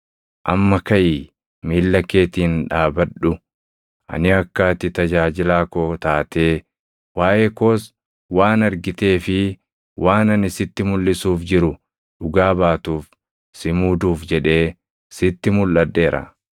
Amma kaʼii miilla keetiin dhaabadhu. Ani akka ati tajaajilaa koo taatee, waaʼee koos waan argitee fi waan ani sitti mulʼisuuf jiru dhugaa baatuuf si muuduuf jedhee sitti mulʼadheera.